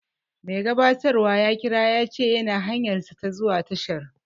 Mai gabatarwan ya kira ya ce yana hanyarsa ta zuwa tashar